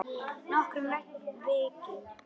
Nokkurn veginn.